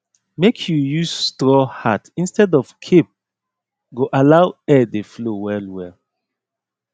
make you use straw hat instead of cape go allow air dey flow well